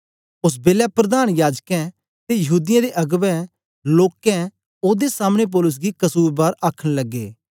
ओस बेलै प्रधान याजकें ते यहूदीयें दे अगबें लोकें ओदे सामने पौलुस गी कसुरबार आखन लगे